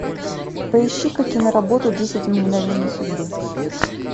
поищи ка киноработу десять мгновений судьбы